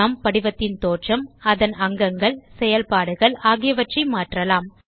நாம் படிவத்தின் தோற்றம் அதன் அங்கங்கள் செயல்பாடுகள் ஆகியவற்றை மாற்றலாம்